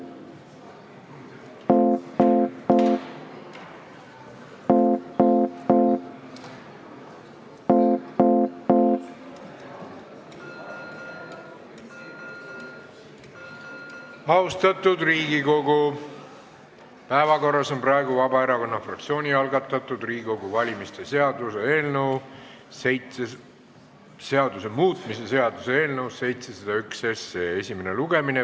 Austatud Riigikogu, päevakorras on praegu Vabaerakonna fraktsiooni algatatud Riigikogu valimise seaduse muutmise seaduse eelnõu 701 esimene lugemine.